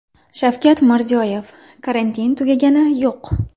Shavkat Mirziyoyev: Karantin tugagani yo‘q.